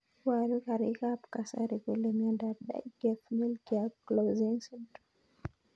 Iparu karik ab kasari kole miondop Dyggve Melchior Clausen syndrome.